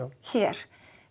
hér